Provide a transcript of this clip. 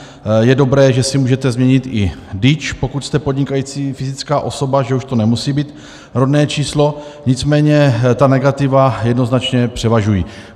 Je dobré, že si můžete změnit i DIČ, pokud jste podnikající fyzická osoba, že už to nemusí být rodné číslo, nicméně ta negativa jednoznačně převažují.